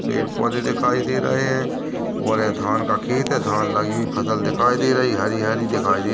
पेड़-पौधे दिखाई दे रहे है और ये धान का खेत है धान लगी हुई फसल दिखाई दे रही हरी-हरी दिखाई दे--